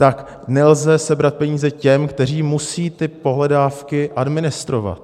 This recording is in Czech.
Tak nelze sebrat peníze těm, kteří musí ty pohledávky administrovat.